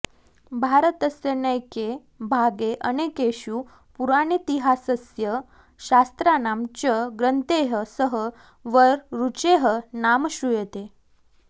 भारतस्य नैके भागे अनेकेषु पुराणेतिहासस्य शास्त्राणां च ग्रन्थैः सह वररुचेः नाम श्रूयते